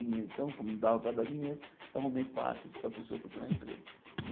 E então, como dava para dar dinheiro, eu arrumei passes para a pessoa procurar emprego.